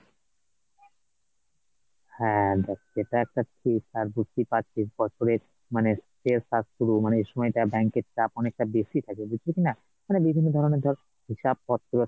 হ্যাঁ, দেখ সেটা একটা ঠিক আর বুঝতে পারছিস বছরের মানে শেষ, আর শুরু মানে এসময় টা bank এর চাপ অনেকে টা বেশি থাকে বুঝলি কিনা মানে বিভিন্ন ধরনের ধর হিসাবপত্তর,